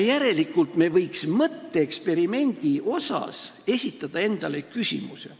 Järelikult me võiksime mõtteeksperimendi korras esitada endale küsimuse.